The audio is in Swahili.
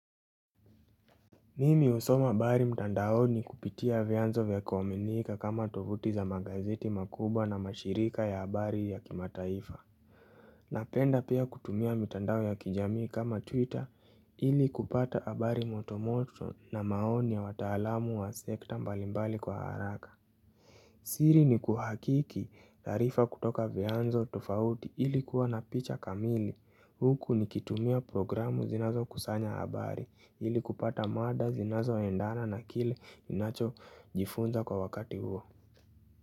Mimi husoma habari mtandaoni kupitia vyanzo vya kuaminika kama tovuti za magazeti makubwa na mashirika ya habari ya kimataifa. Napenda pia kutumia mtandao ya kijamii kama Twitter ili kupata habari motomoto na maoni ya wataalamu wa sekta mbalimbali kwa haraka. Siri ni kuhakiki tarifa kutoka vyanzo tufauti ili kuwa na picha kamili huku nikitumia programu zinazokusanya habari ili kupata mada zinazoendana na kile ninachojifunza kwa wakati huo.